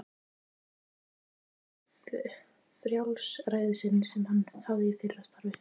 Hann saknar mjög frjálsræðisins sem hann hafði í fyrra starfi.